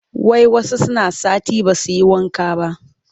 Wai wasu suna sati ba su yi wanka ba